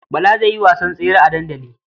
Bala zai yi wasan tsere a dandali.